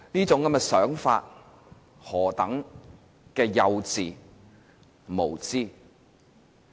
這種想法是何等幼稚無知。